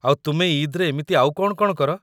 ଆଉ ତୁମେ ଇଦ୍‌ରେ ଏମିତି ଆଉ କ'ଣ କ'ଣ କର?